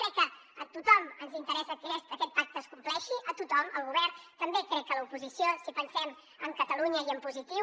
crec que a tothom ens interessa que aquest pacte es compleixi a tothom al govern també crec que a l’oposició si pensem en catalunya i en positiu